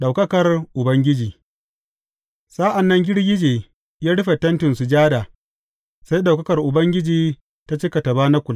Ɗaukakar Ubangiji Sa’an nan girgije ya rufe Tentin Sujada sai ɗaukakar Ubangiji ta cika tabanakul.